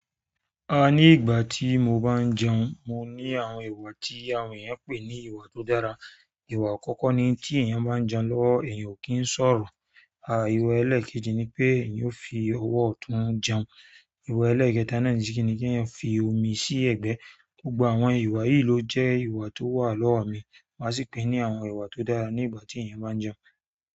A ní ìgbà tí mo bá ń jẹun, mo ní àwọn iwọ̀ tí àwọn ènìyàn ń pè ní iwọ̀ tí ó dára. Ìwà àkọ́kọ́ ni tí èèyàn bá ń jẹun lọ́wọ́ èèyàn ò kí ń sọ̀rọ̀. À ìwà ẹlẹ́ẹ̀kejì ni pé èèyàn ó fi ọwọ́ ọ̀tún jẹun. Ìwà ẹlẹ́ẹ̀kẹta náà ni kí èèyàn fi omi sí ẹ̀gbẹ́. Gbogbo àwọn ìwà yìí ló jẹ́ ìwà tó wà lọ́wọ́ mi, mà sì pè é ní àwọn ìwà tó dára nígbà tí èèyàn bá ń jẹun.